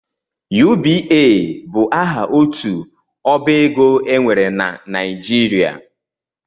UBA bụ aha otu ọbaego e nwere na Nijirịa